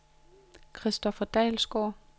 Christopher Dalsgaard